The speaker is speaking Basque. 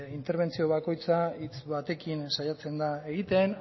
interbentzio bakoitza hitz batekin saiatzen da egiten